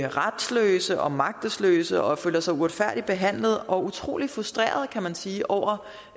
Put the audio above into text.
retsløse og magtesløse og de føler sig uretfærdigt behandlet og utrolig frustrerede kan man sige over